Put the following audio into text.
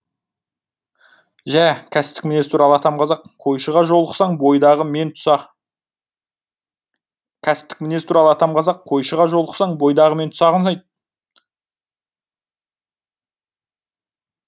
жә кәсіптік мінез туралы атам қазақ қойшыға жолықсаң бойдағы мен тұсақ кәсіптік мінез туралы атам қазақ қойшыға жолықсаң бойдағы мен тұсағын айт